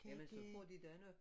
Jamen så får de da noget